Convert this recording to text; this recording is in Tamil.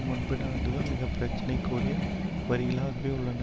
முன்பு நடந்தது மிகவும் பிரச்சனைக்குரிய வரிகளாகவே உள்ளன